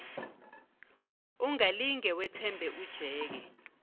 ungalinge wethembe ujeke